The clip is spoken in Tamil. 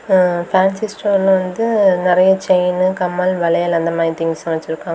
அ பேன்சி ஸ்டோர்ல வந்து நிறைய செயினு கம்மல் வளையல் அந்த மாதிரி திங்ஸ் எல்லா வச்சிருக்காங்க.